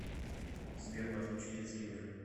сбер подключи детский мир